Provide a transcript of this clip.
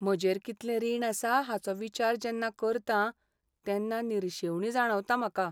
म्हजेर कितलें रीण आसा हाचो विचार जेन्ना करतां तेन्ना निरशेवणी जाणवता म्हाका.